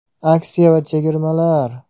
Aksiya va chegirmalar!